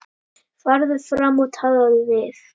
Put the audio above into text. Farðu fram og talaðu við